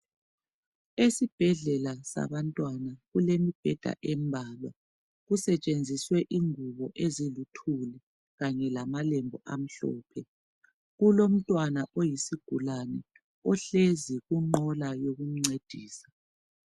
Esibhedlela sabantwana kulemibheda embalwa. Kusetshenziswe ingubo eziluthuli lamalembu amhlophe. Kulomntwana oyisigulani ohlezi kunqola yokumncedisa.